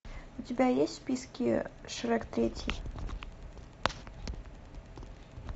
у тебя есть в списке шрек третий